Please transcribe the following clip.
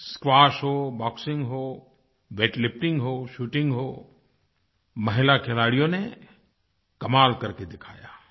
squash हो boxing हो weightlifting हो शूटिंग हो महिला खिलाड़ियों ने कमाल करके दिखाया